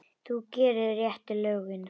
Þú gerir réttu lögin.